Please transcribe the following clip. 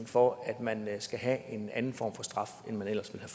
for at man skal have en anden form for straf end man ellers ville